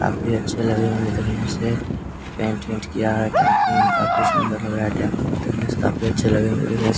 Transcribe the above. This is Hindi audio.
काफी अच्छे लग रहे होंगे देखने से पेंट वेंट किया है टेंपू में काफी सुंदर लग रहा है देखने से काफी अच्छे लग रहे हैं देखने से।